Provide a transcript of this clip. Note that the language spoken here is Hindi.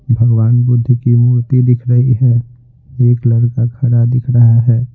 भगवान बुद्ध की मूर्ति दिख रही है एक लड़का खड़ा दिख रहा है।